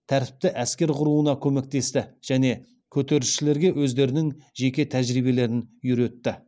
тәртіпті әскер құруына көмектесті және көтерілісшілерге өздерінің жеке тәжірибелерін үйретті